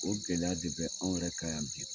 O gɛlɛya de bɛ anw yɛrɛ kan yan bi.